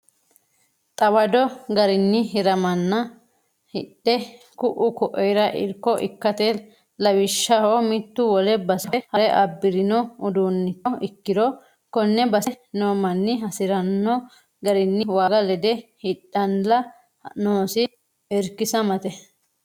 Xawadu garinni hiramanna hidhe ku"u koira irko ikkate lawishshaho mitu wole base fafe hare abbirino uduuncho ikkiro kone basete no manni hasirano garinni waaga lede hidhalla noosi irkisamate.